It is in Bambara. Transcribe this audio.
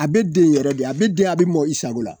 A be den yɛrɛ de a be den a be mɔgɔ i sago la.